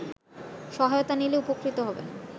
সহায়তা নিলে উপকৃত হবেন